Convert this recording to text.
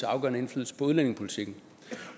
afgørende indflydelse på udlændingepolitikken